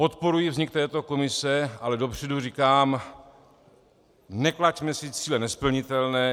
Podporuji vznik této komise, ale dopředu říkám, neklaďme si cíle nesplnitelné.